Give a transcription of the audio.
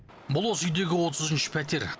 бұл осы үйдегі отызыншы пәтер